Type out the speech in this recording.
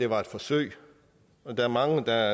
var et forsøg der er mange der